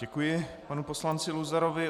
Děkuji panu poslanci Luzarovi.